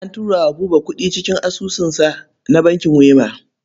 An turo wa Buba kuɗi cikin asusunsa na bankin Wema.